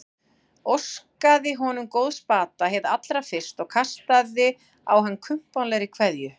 Óskaði honum góðs bata hið allra fyrsta og kastaði á hann kumpánlegri kveðju.